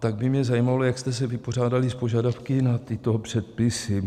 Tak by mě zajímalo, jak jste se vypořádali s požadavky na tyto předpisy.